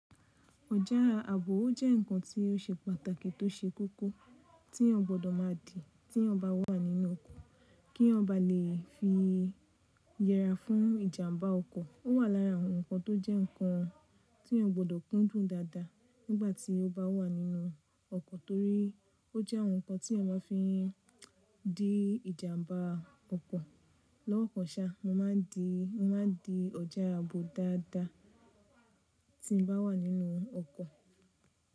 Ọjà ààbò ó jẹ́ ǹkan tí o ṣe pàtàkì tó ṣe kókó tí èèyàn gbọdọ̀ má di tí èèyàn bá wà nínú ọkọ̀, kí èèyàn bá lè fi yẹra fún ìjàmbá ọkọ̀. Ó wà lára àwọn ǹkan tó jẹ́ ǹkan tí èèyàn gbọ́dọ̀ kúndùn dáadáa nígbà tí o bá wà nínú ọkọ̀, torí ó jẹ́ àwọn ǹkan tí èèyàn má fi dín ìjàmbá ọkọ̀. Lọ́wọ́ kan sa, mo máa ń di ọjà ààbò dáadáa tí n bá wà nínú ọkọ̀.